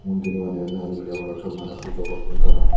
mondiney baneyonye miley morot syot maney pujo gotton tara.